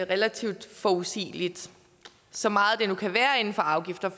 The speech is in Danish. relativt forudsigeligt så meget det nu kan være inden for afgifter